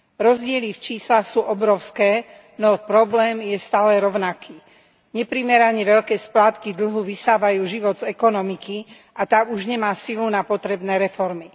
Rozdiely v číslach sú obrovské, no problém je stále rovnaký neprimerane veľké splátky dlhu vysávajú život z ekonomiky a tá už nemá silu na potrebné reformy.